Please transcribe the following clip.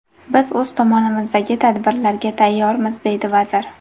Biz o‘z tomonimizdagi tadbirlarga tayyormiz”, deydi vazir.